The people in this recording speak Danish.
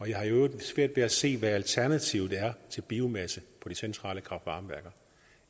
jeg har i øvrigt svært ved at se hvad alternativet er til biomasse på de centrale kraft varme værker